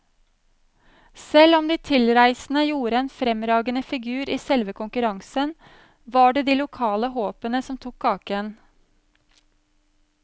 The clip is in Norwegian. Selv om de tilreisende gjorde en fremragende figur i selve konkurransen, var det de lokale håpene som tok kaka.